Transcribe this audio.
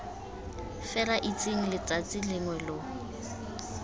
fela itseng letsatsi lengwe lo